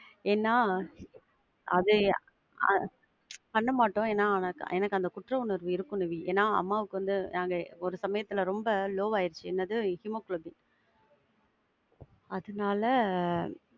ஏன்னா அது ஆஹ் பண்ண மாட்டோம். ஏன்னா எனக்கு அந்த குற்ற உணர்வு இருக்கும் நிவி. ஏன்னா அம்மாவுக்கு வந்து நாங்க ஒரு சமயத்துல ரொம்ப low ஆயிடிச்சி, என்னது ஹீமோகுளோபின. அதுனால,